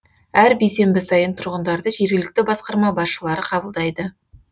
әр бейсенбі сайын тұрғындарды жергілікті басқарма басшылары қабылдайды